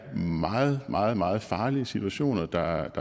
meget meget meget farlige situationer der